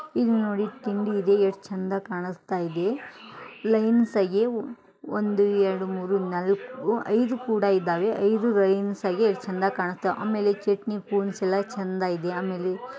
ಇಲ್ಲಿ ನೋಡಿ ತಿಂಡಿ ಇದೆ ಎಷ್ಟು ಚಂದ ಕಾಣಸ್ತಾಯಿದೆ ಲೈನ್ಸ್ ಆಗಿ ಒಂದು ಎರಡು ಮೂರೂ ನಾಲ್ಕು ಐದು ಕೂಡ ಇದಾವೆ ಐದು ಲೈನ್ಸ್ ಆಗಿ ಎಷ್ಟು ಚಂದಾಗಿ ಕಾಣಸ್ತಾವೆ ಆಮೇಲೆ ಚಟ್ನಿ ಸ್ಪೂನ್ಸ್ ಎಲ್ಲ ಚಂದಾಗಿ ಆಮೇಲೆ --